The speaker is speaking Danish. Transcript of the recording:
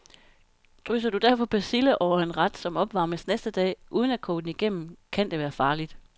Drysser du derfor persille over en ret, som opvarmes næste dag, uden at koge den igennem, kan det være farligt.